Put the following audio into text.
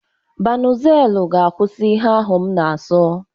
Banuzelu ga-akwụsị ihe ahu m na-aso.